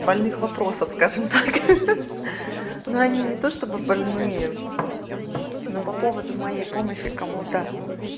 больных вопросов скажем так ха-ха ну они не то чтобы больные но по поводу моей помощи кого-то